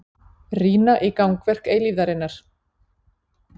Rýna í gangverk eilífðarinnar.